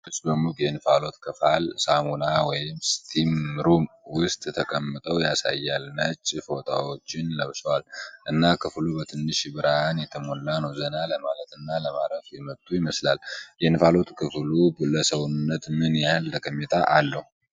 ሦስት ሴቶች በሙቅ የእንፋሎት ክፍል (ሳውና ወይም ስቲም ሩም) ውስጥ ተቀምጠው ያሳያል። ነጭ ፎጣዎችን ለብሰዋል እና ክፍሉ በትንሽ ብርሃን የተሞላ ነው። ዘና ለማለት እና ለማረፍ የመጡ ይመስላል። የእንፋሎት ክፍሉ ለሰውነት ምን ያህል ጠቀሜታ አለው?